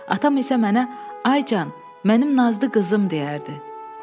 Atam isə mənə “Ay can, mənim nazlı qızım” deyərdi.